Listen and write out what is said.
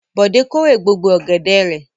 Bọ̀dé kórè gbogbo ọ̀gẹ̀dẹ̀ rẹ̀?